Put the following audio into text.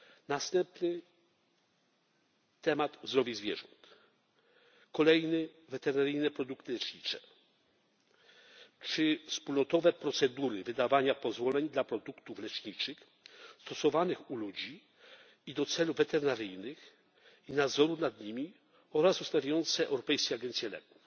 Następny temat Zdrowie zwierząt, kolejny Weterynaryjne produkty lecznicze czy wspólnotowe procedury wydawania pozwoleń dla produktów leczniczych stosowanych u ludzi i do celów weterynaryjnych i nadzoru nad nimi oraz ustawiające Europejską Agencję Leków,